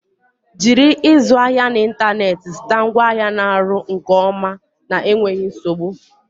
Jiri ịzụ ahịa n'ịntanetị zụta ngwaahịa na ọrụ nke ọma na enweghi nzogbu.